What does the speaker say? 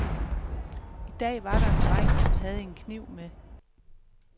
I dag var der en dreng, som havde en kniv med.